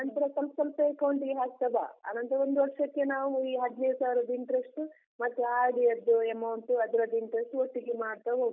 ಆನಂತ್ರ ಸ್ವಲ್ಪ್ ಸ್ವಲ್ಪವೆ account ಗೆ ಹಾಕ್ತ ಬಾ, ಆನಂತ್ರ ಒಂದು ವರ್ಷಕ್ಕೆ ನಾವು ಈ ಹದ್ನೈದ್ ಸಾವಿರದ್ interest ಮತ್ತೆ RD ಯದ್ದು amount ಅದ್ರದು interest ಒಟ್ಟಿಗೆ ಮಾಡ್ತಾ ಹೋಗ್ವಾ.